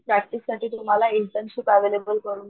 practice साठी तुम्हाला internship available करून,